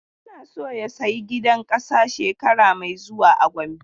Yana so ya saya gidan ƙasa shekara mai zuwa a Gombe.